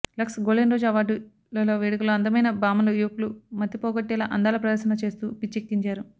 Lux golden rose award ల వేడుకలో అందమైన భామలు యువకుల మతిపోగొట్టేలా అందాల ప్రదర్శన చేస్తూ పిచ్చెక్కించారు